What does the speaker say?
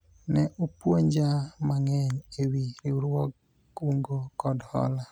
ne opuonja mang'eny ewi riwruog kungo kod hola